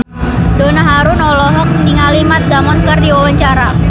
Donna Harun olohok ningali Matt Damon keur diwawancara